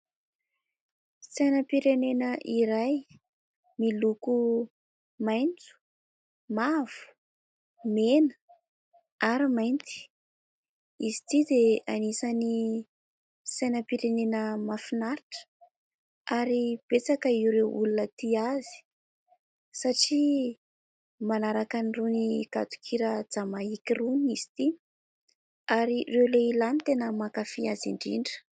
Sainam-pirenena iray miloko mainty, mavo, mena ary mainty. Izy ity dia anisan'ny sainam-pirenena mahafinaritra ary betsaka ireo olona tia azy satria manaraka irony gadon-kira jamaika irony izy ity ary ireo lehilahy no mankafy azy indrindra.